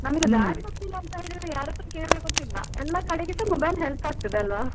ನಮ್ಗೆ ದಾರಿ ಗೊತ್ತಿಲ್ಲ ಅಂತಂದ್ರು ಯಾರತ್ರ ಕೇಳ್ಬೇಕು ಅಂತ ಇಲ್ಲ ಎಲ್ಲ ಕಡೆಗೆ ಸ mobile help ಆಗ್ತದೆ ಅಲ್ವ.